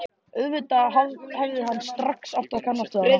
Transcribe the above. Auðvitað hefði hann strax átt að kannast við hana.